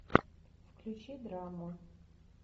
включи драму